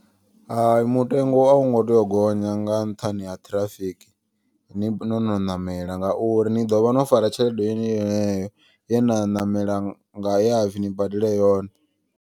Hai mutengo a u ngo tea u gonya nga nṱhani ha ṱhirafiki. Ni nono ṋamela ngauri ni ḓovha no fara tshelede yeyo ye na ṋamela nga yapfi ni badela yone.